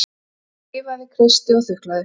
Ég þreifaði, kreisti og þuklaði.